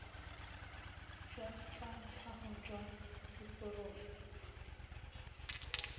jwa tsa tlhago jwa seporofe